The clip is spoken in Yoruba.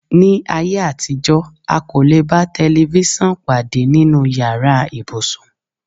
Ní ayé àtijọ́, a kò lè bá tẹlifísàn pàdé nínú yàrá ibùsùn